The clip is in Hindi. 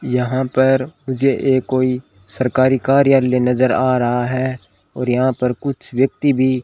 यहां पर मुझे ये कोई सरकारी कार्यालय नजर आ रहा है और यहां पर कुछ व्यक्ति भी --